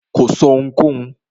Kò sọ́ ohunkóhun.